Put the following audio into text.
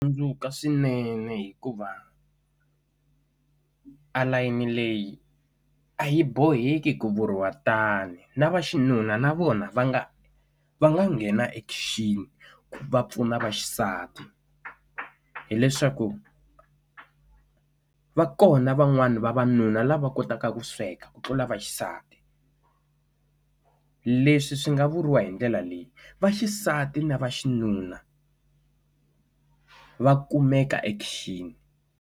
Tsundzuka swinene hikuva a layeni leyi a yi boheki ku vuriwa tani na vaxinuna na vona va nga va nga nghena e khichini va pfuna vaxisati hileswaku va kona van'wani vavanuna lava kotaka ku sweka ku tlula vaxisati leswi swi nga vuriwa hi ndlela leyi vaxisati na va xinuna va kumeka e khichini.